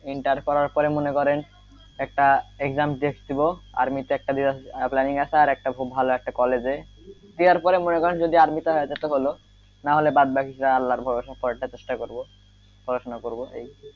inter করার পরে মনে করেন একটা exam test দিবো army তে দেওয়ার planning আছে আর একটা খুব ভালো একটা college এ দেওয়ার পরে মনে করেন যদি army তে হয়ে যায় তো হলো নাহলে বাদ বাকিটা আল্লার ভরসা পরেরটা চেষ্টা করবো পড়াশোনা করবো এই,